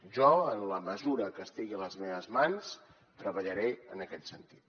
jo en la mesura que estigui a les meves mans treballaré en aquest sentit